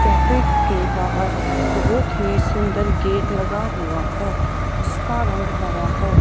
Cafe के बाहर बहुत ही सुंदर गेट लगा हुआ है। जिसका रंग हरा है।